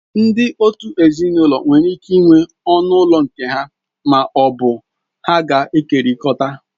Ndị òtù ezinụlọ nwere ike ịnwe ọnụ ụlọ nke ha ma ọ bụ ha ga-ekekọrịta.